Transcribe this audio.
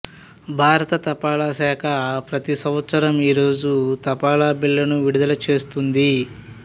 భారత తపాళా శాఖ ప్రతి సంవత్సరం ఈ రోజు తపాలా బిళ్ళను విడుదల చేస్తుంది